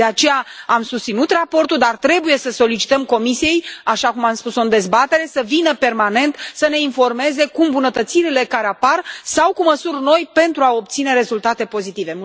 De aceea am susținut raportul, dar trebuie să solicităm Comisiei, așa cum am spus o în dezbatere, să vină permanent să ne informeze cu îmbunătățirile care apar sau cu măsuri noi pentru a obține rezultate pozitive.